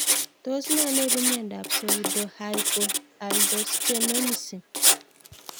Tos nee neipu miondop pseudohypoaldosteronism